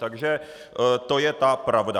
Takže to je ta pravda.